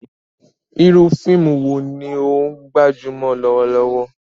Iru fiimu wo ni o gbajumọ lọwọlọwọ?